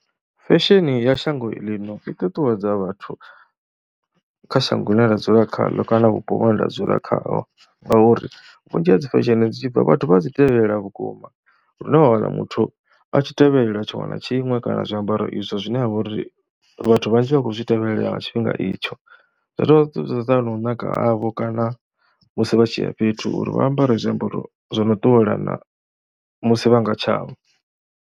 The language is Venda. Fesheni ya shango ḽino i ṱuṱuwedza vhathu kha shango ḽine ra dzula khaḽo kana vhupo vhune nda dzula khaho ngauri vhunzhi ha dzi fesheni dzi tshi bva vhathu vha dzi tevhelela vhukuma lune wa wana muthu a tshi tevhelela tshiṅwe na tshiṅwe kana zwiambaro izwo zwine ha vha uri vhathu vhanzhi vha khou zwi tevhelela nga tshifhinga itsho. Zwa dovha zwa ṱuwisana na u naka havho kana musi vha tshi ya fhethu uri vha ambare zwiambaro zwo no ṱuwelana musi vha nga tshavho.